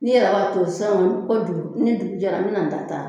Ni yɛrɛ b'a to san fo dugu ni dugu jɛra n bɛ na n ta ta